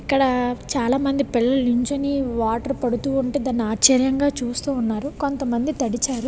ఇక్కడ చలంనది పిలలు నిలోచొని వాటర్ పడుతూ ఉనతే విచిత్రం గ చేస్తున్నారు. కొంత మంది --